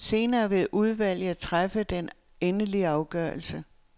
Senere vil udvalget træffe den endelige afgørelse.